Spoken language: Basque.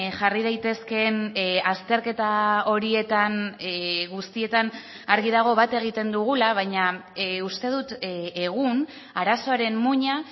jarri daitezkeen azterketa horietan guztietan argi dago bat egiten dugula baina uste dut egun arazoaren muina